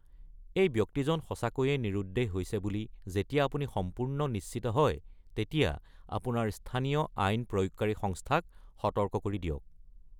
এই ব্যক্তিজন সঁচাকৈয়ে নিৰুদ্দেশ হৈছে বুলি যেতিয়া আপুনি সম্পূৰ্ণ নিশ্চিত হয়, তেতিয়া আপোনাৰ স্থানীয় আইন প্ৰয়োগকাৰী সংস্থাক সতৰ্ক কৰি দিয়ক।